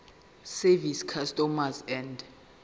service customs and